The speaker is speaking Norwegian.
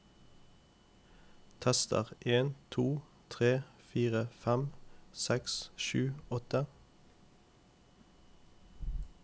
Tester en to tre fire fem seks sju åtte